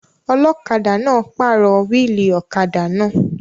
Ọlọ́kadà náà pàrọ̀ wíìlì ọ̀kadà náà